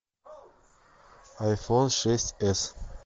айфон шесть с